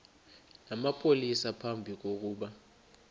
namapolisa phambi kokuba